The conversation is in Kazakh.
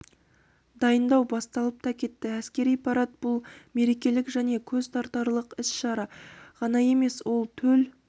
дайындау басталып та кетті әскери парад бұл мерекелік және көзтартарлық іс-шара ғана емес ол төл